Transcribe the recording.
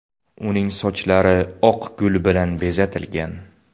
Uning sochlari oq gul bilan bezatilgan.